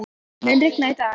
Reifnir, mun rigna í dag?